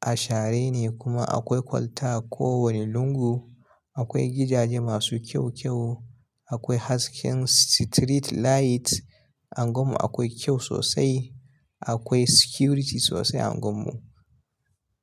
Ashare ne kuma akwai kwalta ko wane lungu. Akwai gidaje masu kyau-kyau, akwai hasken street light. Anguwan mu akwai kyau sosai, akwai security sosai a anguwan mu.